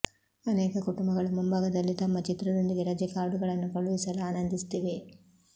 ಅನೇಕ ಕುಟುಂಬಗಳು ಮುಂಭಾಗದಲ್ಲಿ ತಮ್ಮ ಚಿತ್ರದೊಂದಿಗೆ ರಜೆ ಕಾರ್ಡುಗಳನ್ನು ಕಳುಹಿಸಲು ಆನಂದಿಸುತ್ತಿವೆ